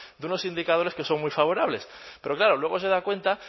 de unos indicadores que son muy favorables pero claro luego se da cuenta